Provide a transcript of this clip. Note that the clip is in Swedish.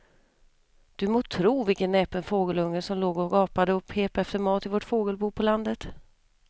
Du må tro vilken näpen fågelunge som låg och gapade och pep efter mat i vårt fågelbo på landet.